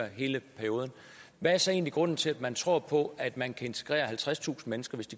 hele perioden hvad er så egentlig grunden til at man tror på at man kan integrere halvtredstusind mennesker